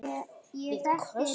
Við köstum þessu bara út.